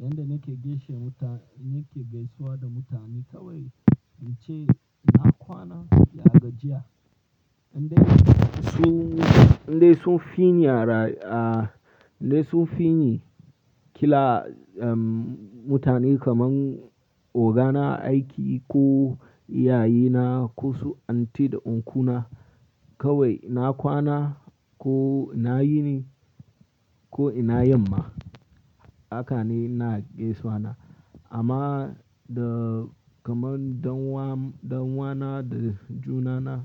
Yan da nake gaishe da muta-- nake gaisawa da mutane kawai, in ce na kwana, ya gajiya. Indai sun, indai sun fini ara-- ah, indai sun fini kila, um, mutane kamar ogana aiki ko iyaye na ko su aunty da uncle na kawai na kwana ko na yini ko ina yamma haka ne na gaisawa na. Amma da kamar ɗan'uwa, ɗan'uwa na da junana,